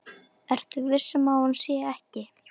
Ertu viss um að hún sé ekki.